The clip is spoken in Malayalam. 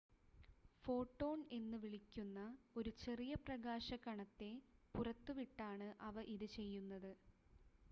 ഫോട്ടോൺ എന്നുവിളിക്കുന്ന ഒരു ചെറിയ പ്രകാശ കണത്തെ പുറത്തുവിട്ടാണ് അവ ഇത് ചെയ്യുന്നത്